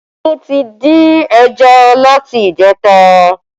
Olu tí dín ẹja láti ìjẹta